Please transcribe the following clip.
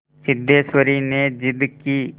सिद्धेश्वरी ने जिद की